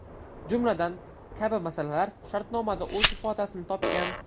Jumladan, kabi masalalar shartnomada o‘z ifodasini topgan.